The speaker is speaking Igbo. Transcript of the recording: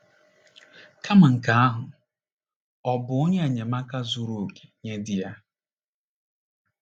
Kama nke ahụ, ọ bụ onye enyemaka zuru oke nye di ya.